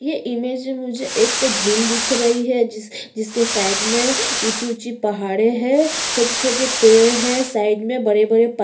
ये इमेज में मुझे एक झील दिख रही है जिस जिसके साइड में ऊँची-ऊँची पहाड़े हैं छोटे-छोटे पेड़ हैं साइड में बड़े-बड़े पत --